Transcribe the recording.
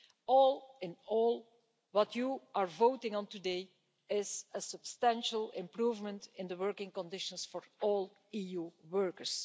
All in all, what you are voting on today is a substantial improvement in the working conditions for all EU workers.